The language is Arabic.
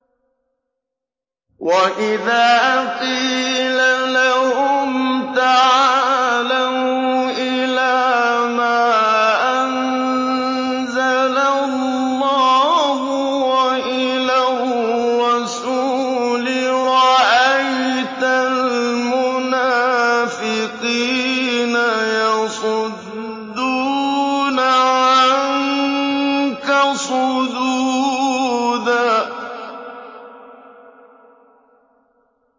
وَإِذَا قِيلَ لَهُمْ تَعَالَوْا إِلَىٰ مَا أَنزَلَ اللَّهُ وَإِلَى الرَّسُولِ رَأَيْتَ الْمُنَافِقِينَ يَصُدُّونَ عَنكَ صُدُودًا